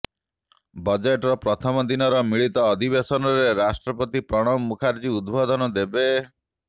ବଜେଟର ପ୍ରଥମ ଦିନର ମିଳିତ ଅଧିବେଶନରେ ରାଷ୍ଟ୍ରପତି ପ୍ରଣବ ମୁଖାର୍ଜୀ ଉଦବୋଧନ ଦେବେ